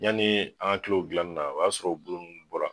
Yanni an ka kila o dilanni la o y'a sɔrɔ o bulu ninnu bɔra